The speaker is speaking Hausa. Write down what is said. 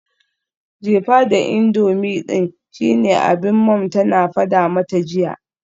Jefa da indomie din shine abinda mom tana fada mata jiya.